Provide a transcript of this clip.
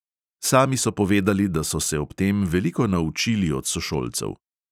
Sami so povedali, da so se ob tem veliko naučili od sošolcev.